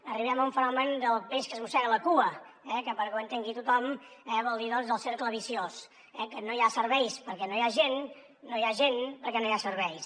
arribem a un fenomen del peix que es mossega la cua que perquè ho entengui tothom vol dir del cercle viciós que no hi ha serveis perquè no hi ha gent no hi ha gent perquè no hi ha serveis